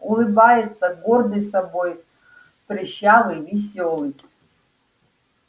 улыбается гордый собой прыщавый весёлый